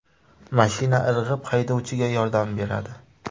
Mashina irg‘ib, haydovchiga yordam beradi.